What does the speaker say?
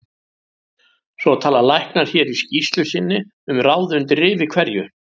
Svo tala læknar hér í skýrslu sinni um ráð undir rifi hverju